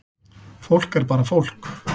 Fólk er bara fólk